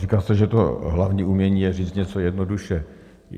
Říká se, že to hlavní umění je říct něco jednoduše.